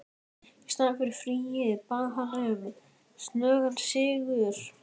Í staðinn fyrir frið bað hann um snöggan sigur.